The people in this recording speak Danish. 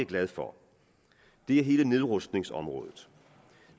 glad for er hele nedrustningsområdet